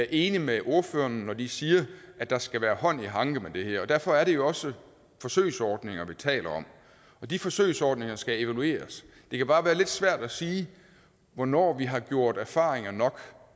enig med ordførerne når de siger at der skal være hånd i hanke med det her og derfor er det jo også forsøgsordninger vi taler om og de forsøgsordninger skal evalueres det kan bare være lidt svært at sige hvornår vi har gjort erfaringer nok